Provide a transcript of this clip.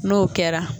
N'o kɛra